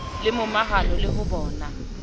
le momahano le ho bona